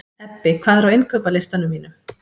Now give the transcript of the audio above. Ebbi, hvað er á innkaupalistanum mínum?